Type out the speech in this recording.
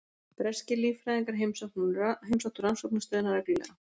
Breskir líffræðingar heimsóttu rannsóknarstöðina reglulega.